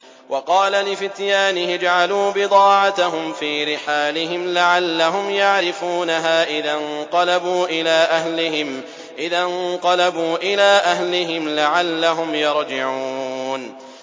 وَقَالَ لِفِتْيَانِهِ اجْعَلُوا بِضَاعَتَهُمْ فِي رِحَالِهِمْ لَعَلَّهُمْ يَعْرِفُونَهَا إِذَا انقَلَبُوا إِلَىٰ أَهْلِهِمْ لَعَلَّهُمْ يَرْجِعُونَ